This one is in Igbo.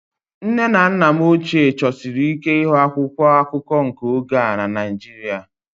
Nne na nna m ochie chọsiri ike ịhụ akwụkwọ akụkọ nke oge a na Naịjirịa